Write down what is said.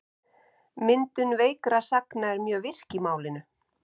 Myndun veikra sagna er mjög virk í málinu.